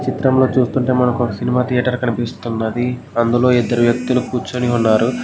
చిత్రం చూస్తుంటే మనకు ఒక సినిమా ధియేటర్ కనిపిస్తున్నది.అందులో ఇద్దరు వ్యక్తులు కూర్చుని ఉన్నారు